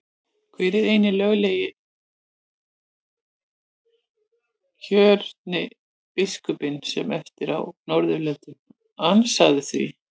Hver er eini löglega kjörni biskupinn sem eftir er á Norðurlöndum, ansaðu því?